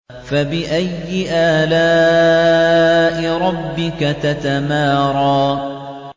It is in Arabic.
فَبِأَيِّ آلَاءِ رَبِّكَ تَتَمَارَىٰ